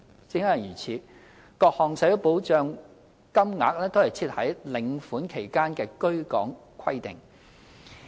正因如此，各項社會保障金額都設有在領款期間的居港規定。